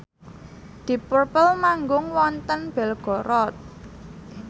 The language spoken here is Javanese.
deep purple manggung wonten Belgorod